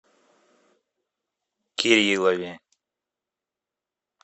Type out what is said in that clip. кириллове